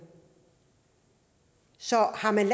så har man